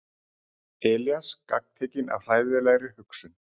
Elías gagntekinn af hræðilegri hugsun.